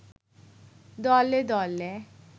দলে দলে